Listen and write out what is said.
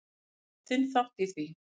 Þú átt þinn þátt í því.